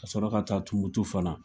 Ka sɔrɔ ka taa Tumutu fana.